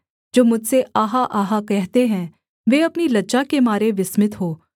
जो मुझसे आहा आहा कहते हैं वे अपनी लज्जा के मारे विस्मित हों